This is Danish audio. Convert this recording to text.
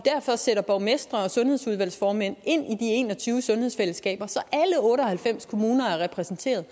borgmestre og sundhedsudvalgsformænd ind i de en og tyve sundhedsfællesskaber så alle otte og halvfems kommuner er repræsenteret